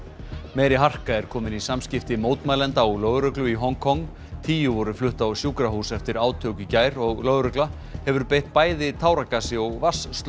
meiri harka er komin í samskipti mótmælenda og lögreglu í Hong Kong tíu voru flutt á sjúkrahús eftir átök í gær og lögregla hefur beitt bæði táragasi og